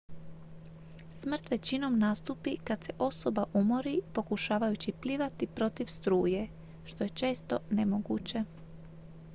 smrt većinom nastupi kad se osoba umori pokušavajući plivati protiv struje što je često nemoguće